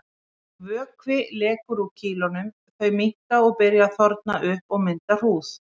Vökvi lekur úr kýlunum, þau minnka og byrja að þorna upp og mynda hrúður.